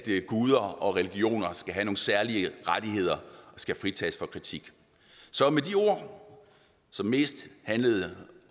guder og religioner skal have nogle særlige rettigheder og skal fritages for kritik så med de ord som mest handlede